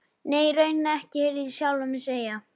Nei, í rauninni ekki, heyrði ég sjálfan mig segja.